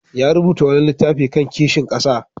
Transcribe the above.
Ya rubuta wani littafi kan kishin ƙasa.